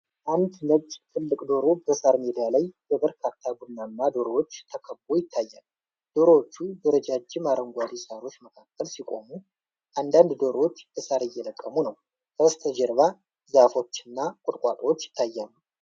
አንድ ነጭ ትልቅ ዶሮ በሣር ሜዳ ላይ በበርካታ ቡናማ ዶሮዎች ተከብቦ ይታያል። ዶሮዎቹ በረጃጅም አረንጓዴ ሣሮች መካከል ሲቆሙ፣ አንዳንድ ዶሮዎች ሣር እየለቀሙ ነው። ከበስተጀርባ ዛፎችና ቁጥቋጦዎች ይታያሉ።